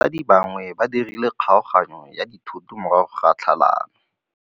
Batsadi ba gagwe ba dirile kgaoganyô ya dithoto morago ga tlhalanô.